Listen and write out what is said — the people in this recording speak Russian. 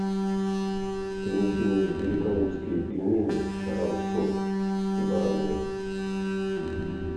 принеси мне великолукские пельмени грамм сто с бараниной